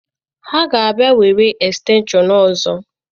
Ha ga-abịa were estenshọn ọzọ.